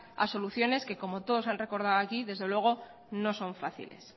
a soluciones que como todos han recordado aquí desde luego no son fáciles